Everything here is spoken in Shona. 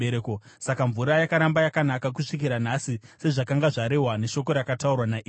Saka mvura yakaramba yakanaka kusvikira nhasi sezvakanga zvarehwa neshoko rakataurwa naErisha.